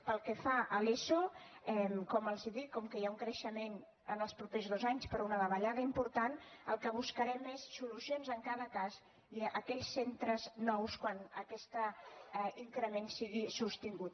pel que fa a l’eso com els dic com que hi ha un creixement en els propers dos anys però una davallada important el que buscarem és solucions en cada cas i a aquells centres nous quan aquest increment sigui sostingut